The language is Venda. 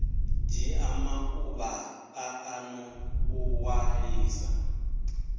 dzhia maḓuvha maṱanu u ṅwalisa